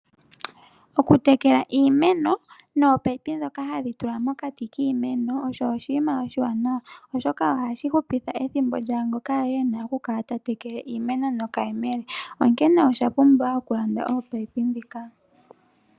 Okutekela iimeno nominimo ndhoka hadhi tulwa mokati kiimeno osho oshinima oshiwaanawa oshoka ohashi hupitha ethimbo lyaa ngoka a li e na okukala ta tekele iimeno nokayemele, onkene osha pumbiwa okulanda ominino ndhika.